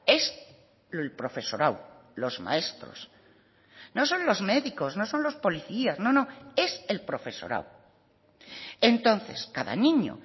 es el profesorado los maestros no son los médicos no son los policías no no es el profesorado entonces cada niño